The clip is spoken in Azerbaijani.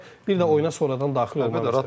Bir də oyuna sonradan daxil olmaq məsələsi.